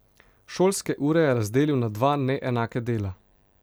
Šolske ure je razdelil na dva neenaka dela.